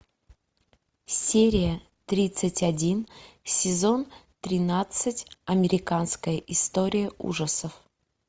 серия тридцать один сезон тринадцать американская история ужасов